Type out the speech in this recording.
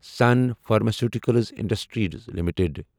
sun Pharmaceuticals Industries limited